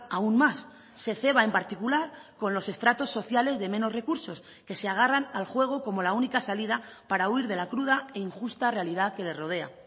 aún más se ceba en particular con los estratos sociales de menos recursos que se agarran al juego como la única salida para huir de la cruda e injusta realidad que le rodea